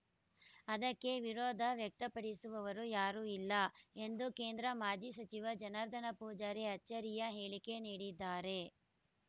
ಅದಕ್ಕೆ ವಿರೋಧ ವ್ಯಕ್ತಪಡಿಸುವವರು ಯಾರೂ ಇಲ್ಲ ಎಂದು ಕೇಂದ್ರ ಮಾಜಿ ಸಚಿವ ಜನಾರ್ದನ ಪೂಜಾರಿ ಅಚ್ಚರಿಯ ಹೇಳಿಕೆ ನೀಡಿದ್ದಾರೆ